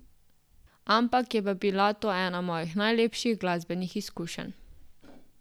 Ampak je pa bila to ena mojih najlepših glasbenih izkušenj.